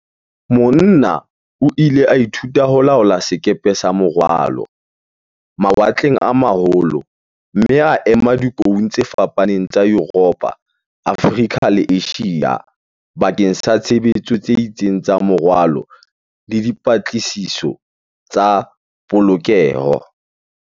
Mona o ile a ithuta ho laola sekepe sa morwalo, mawatleng a ma holo mme a ema dikoung tse fapaneng tsa Yuropo, Afrika le Asia bakeng sa tshebetso tse itseng tsa morwalo le di -patlisiso tsa polokeho.